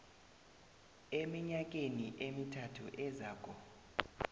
eminyakeni emithathu ezako